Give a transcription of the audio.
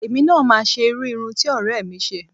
Èmi náà máa ṣe irú irun ti ọ̀rẹ́ mi ṣe